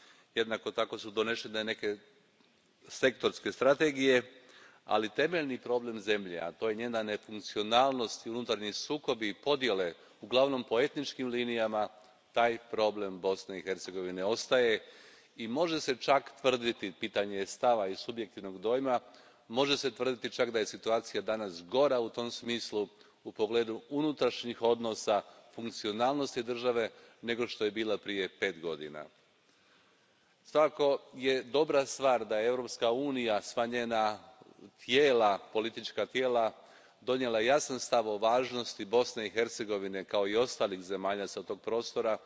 Jednako tako su donesene neke sektorske strategije, ali temeljni problem zemlje, a to je njena nefunkcionalnost i unutarnji sukobi i podjele, uglavnom po etničkim linijama, taj problem Bosne i Hercegovine ostaje i može se čak tvrditi, pitanje je stava i subjektivnog dojma, može se tvrditi čak da je situacija danas gora u tom smislu, u pogledu unutarnjih odnosa, funkcionalnosti države, nego što je bila prije pet godina. Svakako je dobra stvar da je Europska unija, sva njena politička tijela, donijela jasan stav o važnosti Bosne i Hercegovine, kao i ostalih zemalja s tog prostora